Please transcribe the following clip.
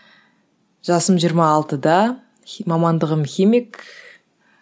жасым жиырма алтыда мамандығым химик